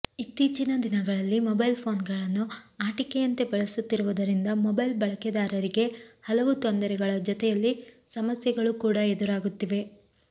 ಇತ್ತೀಚಿನ ದಿನಗಳಲ್ಲಿ ಮೊಬೈಲ್ ಫೋನ್ಗಳನ್ನು ಆಟಿಕೆಯಂತೆ ಬಳಸುತ್ತಿರುವುದರಿಂದ ಮೊಬೈಲ್ ಬಳಕೆದಾರರಿಗೆ ಹಲವು ತೊಂದರೆಗಳ ಜೊತೆಯಲ್ಲಿ ಸಮಸ್ಯೆಗಳು ಕೂಡ ಎದುರಾಗುತ್ತಿವೆ